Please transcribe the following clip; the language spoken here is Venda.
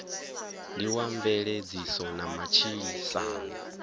ndi wa mveledziso na matshilisano